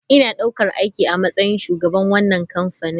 Ina ɗaukar aiki a matsayin shugaban wannan kamfani.